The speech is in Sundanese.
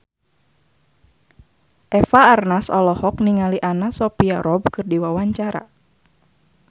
Eva Arnaz olohok ningali Anna Sophia Robb keur diwawancara